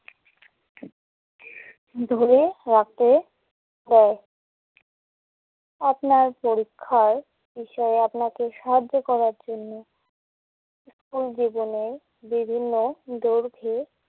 ধরে রাখতে হয়। আপনার পরীক্ষায় বিষয়ে আপনাকে সাহায্য করার জন্য স্কুল জীবনে বিভিন্ন দৈর্ঘ্যে